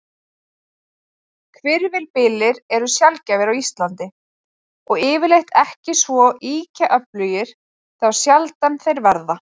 Hvirfilbyljir eru sjaldgæfir á Íslandi, og yfirleitt ekki svo ýkja öflugir þá sjaldan þeir verða.